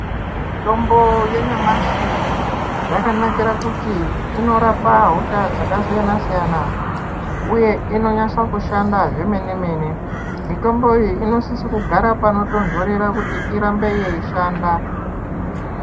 Mutombo yanyamashi yakanakire kuti inorapa hosha dzakasiyana siyana uye inonyasa kushanda zvemene mene mitombo iyi inosiso kugara panotonhorera kuti irambe yeyishanda.